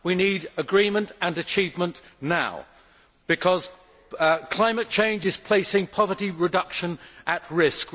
We need agreement and achievement now because climate change is placing poverty reduction at risk.